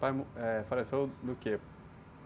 Pai, eh, faleceu do quê?